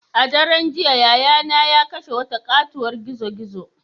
A daren jiya yayana ya kashe wata katuwar gizo-gizo.